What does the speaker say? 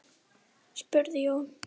spurði Jón.